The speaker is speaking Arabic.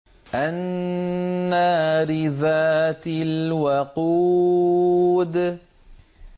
النَّارِ ذَاتِ الْوَقُودِ